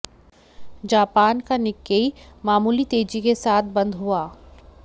Japan का Nikkei मामूली तेजी के साथ बंद हुआ